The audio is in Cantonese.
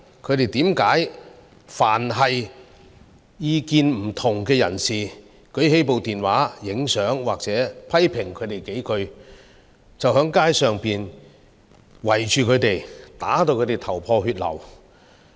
他們為何凡當意見不同的人士舉起手機拍照，甚或批評他們幾句，便在街上圍着他們，把他們打至頭破血流？